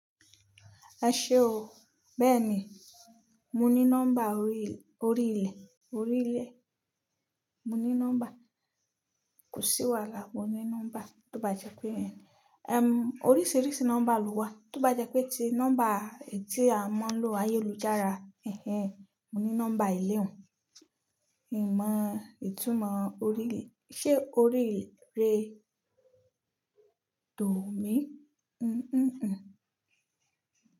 Eṣé o, bẹ́ẹ̀ni mo ní nọ́mbà orí ilẹ̀, orí ilẹ̀ mo ní nọ́mbà. Kò sí wàhálà, mo ní nọ́mbà tó bá jẹ́ pé, ẹm, oríṣiríṣi nọ́mbà ló wà, tó bá jẹ́ pé ti nọ́mbà ètí a máa ń lo ayélujára, ẹhen mo ní nọ́mbà eléhùn. Ìmọ̀ ìtumọ̀ orí ilẹ̀, ṣé orí ilẹ̀ de dòmí? N, n, n.